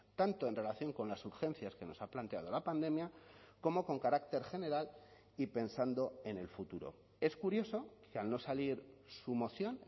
tanto en relación con las urgencias que nos ha planteado la pandemia como con carácter general y pensando en el futuro es curioso que al no salir su moción